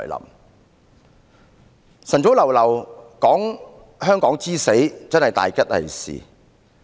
一大清早談論香港之死，真是大吉利是。